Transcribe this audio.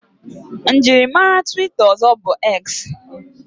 Mjiri mare twita ozo bu X